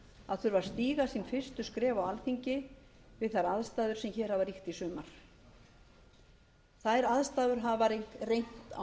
að þurfa að stíga sín fyrstu skref á alþingi við þær aðstæður sem hér hafa ríkt í sumar þær aðstæður hafa reynt á